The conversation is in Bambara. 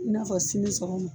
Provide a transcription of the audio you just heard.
I n'a fɔ sini sɔgɔma